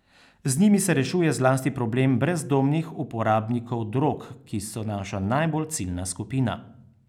Z njimi se rešuje zlasti problem brezdomnih uporabnikov drog, ki so naša najbolj ciljna skupina.